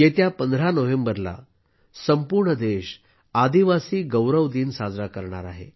येत्या 15 नोव्हेंबरला संपूर्ण देश आदिवासी गौरव दिन साजरा करेल